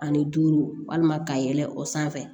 Ani duuru walima ka yɛlɛ o sanfɛ